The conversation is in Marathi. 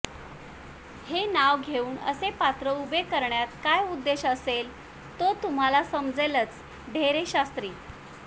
हे नाव घेऊन असे पात्र उभे करण्यात काय उद्देश असेल तो तुम्हाला समजेलच ढेरेशास्त्री